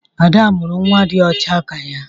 Ada mụrụ nwa dị ọcha ka ya.